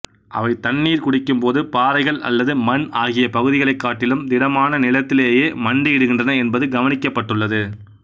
அவை தண்ணீர் குடிக்கும்போது பாறைகள் அல்லது மண் ஆகிய பகுதிகளைக் காட்டிலும் திடமான நிலத்திலேயே மண்டியிடுகின்றன என்பது கவனிக்கப்பட்டுள்ளது